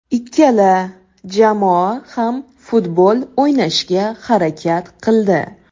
Ikkala jamoa ham futbol o‘ynashga harakat qildi.